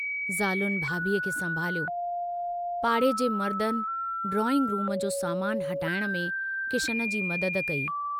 ज़ालुनि भाभीअ खे संभालियो, पाड़े जे मर्दनि डाइंग रूम जो सामानु हटाइण में किशन जी मदद कई।